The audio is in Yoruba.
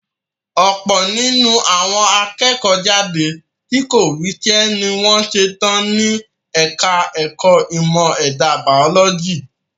Ọ̀pọ̀ nínú àwọn akẹ́kọ̀ọ́ jáde tí kò ríṣẹ́ ní wọ́n ṣetán ní ẹka ẹ̀kọ́ ìmọ̀ ẹ̀dà bàólọ́jì.